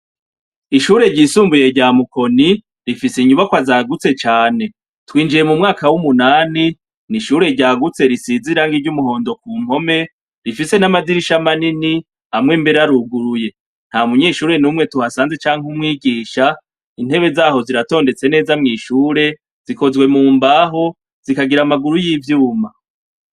ishure ryisumbuye rya mukoni rifise inyubakwa zagutse cane twinjiye mu mwaka w'umunani n'ishure ryagutse risize irangi ry'umuhondo ku mpome rifise n'amadirisha manini amwe mbere aruguruye nta munyeshure n'umwe tuhasanze canke umwigisha intebe zaho ziratondetse neza mw'ishure zikozwe mu mbaho zikagira amaguru y'ivyuma